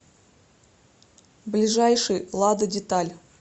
ближайший лада деталь